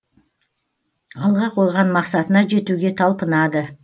алға қойған мақсатына жетуге талпынады